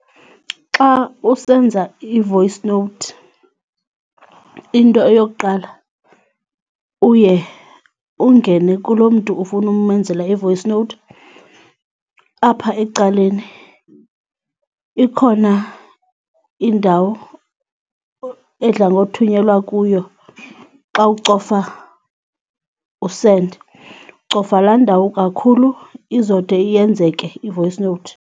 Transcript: Xa usenza i-voice note, into eyokuqala uye ungene kulo mntu ufuna umenzela i-voice note. Apha ecaleni ikhona indawo edla ngothunyelwa kuyo xa ucofa u-send, ucofa laa ndawo kakhulu izode iyenzeke i-voice note.